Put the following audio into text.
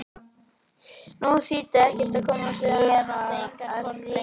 Nú þýddi ekkert að komast til afa því hann átti engan hvolp lengur.